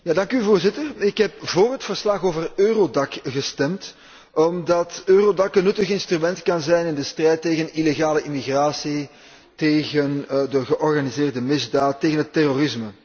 Voorzitter, ik heb voor het verslag over EURODAC gestemd omdat EURODAC een nuttig instrument kan zijn in de strijd tegen illegale immigratie, tegen de georganiseerde misdaad, tegen het terrorisme.